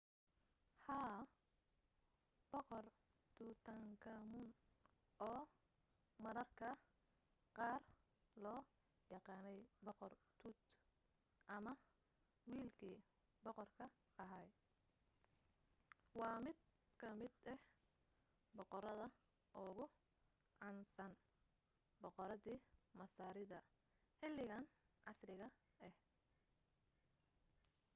haa! boqor tutankhamun oo mararka qaar loo yaqaanay boqor tut” ama wiilkii boqorka ahaa” waa mid ka mid ah boqorada ugu caansana boqoradii masaarida xilligan casriga ah